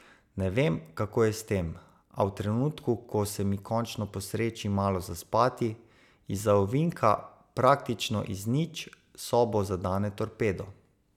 Ne vem, kako je s tem, a v trenutku, ko se mi končno posreči malo zaspati, izza ovinka, praktično iz nič, sobo zadane torpedo.